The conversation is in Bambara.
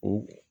O